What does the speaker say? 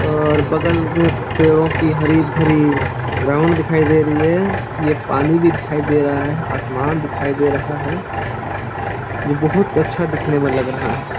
और बगल में पेड़ों की हरी-भरी ग्राउंड दिखाई दे रही है ये पानी भी दिखाई दे रहा है आसमान दिखाई दे रहा है यह बहुत अच्छा दिखने में लग रहा है।